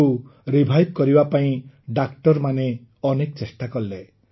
ତାକୁ ରିଭାଇଭ୍ କରିବା ପାଇଁ ଡାକ୍ତରମାନେ ଅନେକ ଚେଷ୍ଟା କଲେ